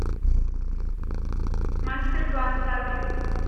мастер класс адрес